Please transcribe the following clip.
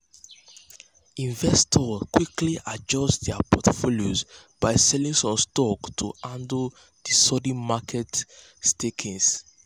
investors quickly adjust dir portfolios by selling some stocks to handle di sudden market shakings.